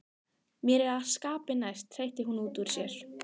Mér er það skapi næst, hreytti hún útúr sér.